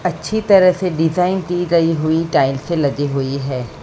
अच्छी तरह से डिजाइन दी गई हुई टाइल्सें लगी हुई है।